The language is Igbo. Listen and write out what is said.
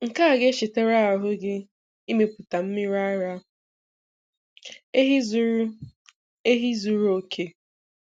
Nke a ga-echetara ahụ gị imepụta mmiri ara ehi zuru ehi zuru oke.